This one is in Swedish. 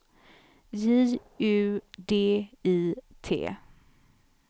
J U D I T